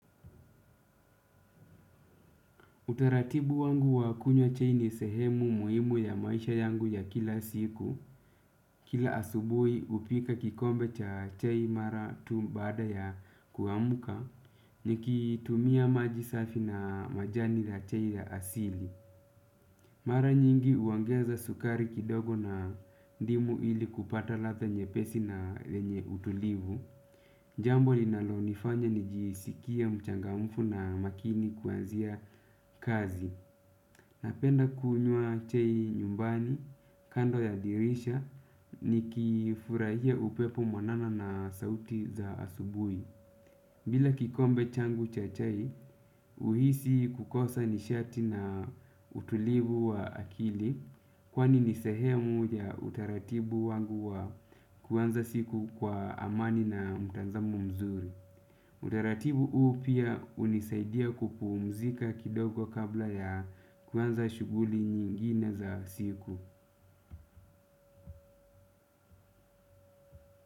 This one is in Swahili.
Utaratibu wangu wa kunywa chai ni sehemu muimu ya maisha yangu ya kila siku. Kila asubui upika kikombe cha chai mara tu baada ya kuamuka. Nikitumia maji safi na majani la chai ya asili. Mara nyingi uongeza sukari kidogo na ndimu ili kupata ladha nyepesi na yenye utulivu. Jambo linalonifanya nijisikie mchangamfu na makini kuanzia kazi. Napenda kunywa chai nyumbani kando ya dirisha nikifurahia upepo mwanana na sauti za asubui. Bila kikombe changu cha chai, uhisi kukosa nishati na utulivu wa akili kwani ni sehemu ya utaratibu wangu wa kuanza siku kwa amani na mtanzamu mzuri. Utaratibu huu pia unisaidia kupuumzika kidogo kabla ya kuanza shughuli nyingine za siku.